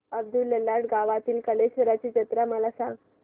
अब्दुललाट गावातील कलेश्वराची जत्रा मला सांग